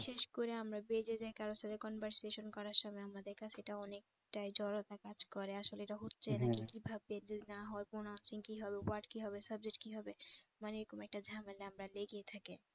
বিশেষ করে আমরা যাই কারো সাথে conversation করার সময় আমার কাছে সেটা অনেকটাই জড়তা কাজ করে আসলে এটা হচ্ছেই না কিভাবে যদি না হয় pronouncing কি হবে word কি হবে subject কি হবে মানে এরকম একটা ঝামেলা আপনার লেগেই থাকে